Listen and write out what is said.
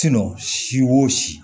si o si